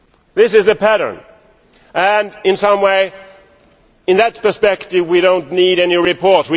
This is the pattern and in some ways, in that perspective, we do not need any report.